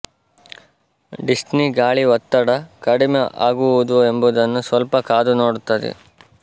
Disney ಗಾಳಿ ಒತ್ತಡ ಕಡಿಮೆ ಆಗುವುದೊ ಎಂಬುದನ್ನು ಸ್ವಲ್ಪ ಕಾದು ನೋಡುತ್ತದೆ